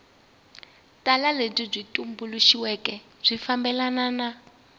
tala lebyi tumbuluxiweke byi fambelana